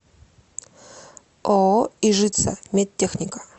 ооо ижица медтехника